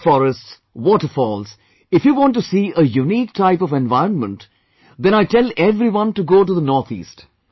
Dense forests, waterfalls, If you want to see a unique type of environment, then I tell everyone to go to the North East